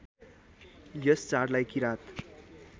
यस चाडलाई किरात